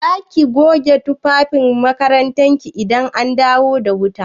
Za ki goge tufafin makarantar ki idan an dawo da wuta?